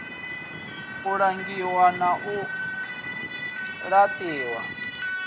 u langiwa na u laṱiwa